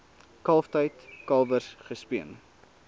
kalftyd kalwers gespeen